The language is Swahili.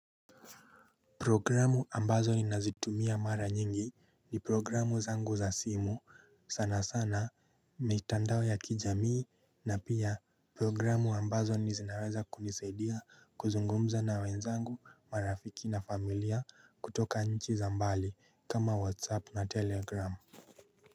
Programu ambazo ninazitumia mara nyingi ni programu zangu za simu sana sana mitandao ya kijamii na pia programu ambazo ni zinaweza kunisadia kuzungumza na wenzangu marafiki na familia kutoka nchi za mbali kama whatsapp na telegram.